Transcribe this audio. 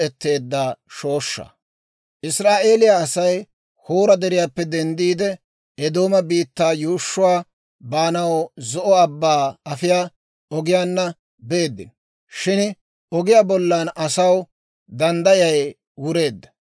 Israa'eeliyaa Asay Hoora Deriyaappe denddiide, Eedooma biittaa yuushshuwaa baanaw Zo'o Abbaa afiyaa ogiyaanna beeddino; shin ogiyaa bollan asaw danddayay wureedda.